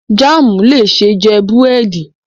Jaamu le ṣee jẹ buredi